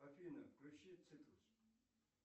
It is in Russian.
афина включи цитрус